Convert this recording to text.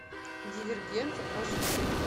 дивергент аш ди